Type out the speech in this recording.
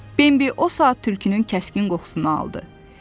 Bembi o saat tülkünün kəskin qoxusunu aldı.